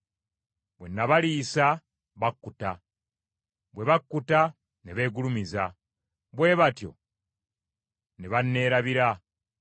Bwe nabaliisa, bakkuta; bwe bakkuta ne beegulumiza, bwe batyo ne banneerabira.